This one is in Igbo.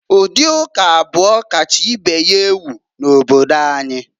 Ụdị ụka abụọ kacha ibe ha ewu n'obodo anyị.